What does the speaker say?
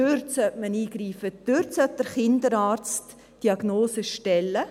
Dort sollte der Kinderarzt die Diagnose stellen.